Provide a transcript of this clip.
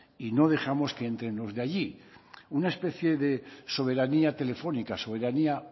y no dejamos que entren los de allí una especie de soberanía telefónica soberanía